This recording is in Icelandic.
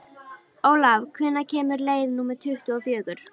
Olav, hvenær kemur leið númer tuttugu og fjögur?